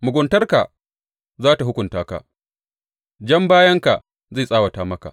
Muguntarka za tă hukunta ka; jan bayanka zai tsawata maka.